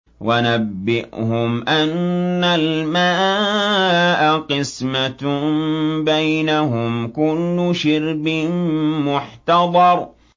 وَنَبِّئْهُمْ أَنَّ الْمَاءَ قِسْمَةٌ بَيْنَهُمْ ۖ كُلُّ شِرْبٍ مُّحْتَضَرٌ